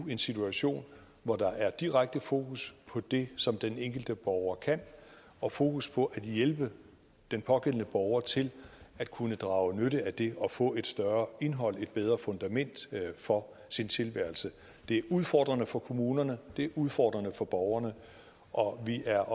en situation hvor der er direkte fokus på det som den enkelte borger kan og fokus på at hjælpe den pågældende borger til at kunne drage nytte af det og få et større indhold i og et bedre fundament for tilværelsen det er udfordrende for kommunerne det er udfordrende for borgerne og vi er